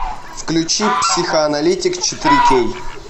включи психоаналитик четыре кей